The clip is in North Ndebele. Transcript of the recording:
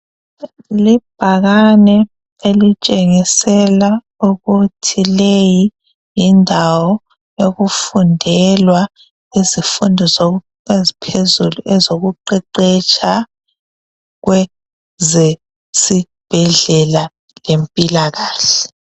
Libhakane elitshengisela ukuthi leyi yindawo okufundelwa izifundo eziphezulu ezokuqeqetsha kweze sibhedlela lempilakahle.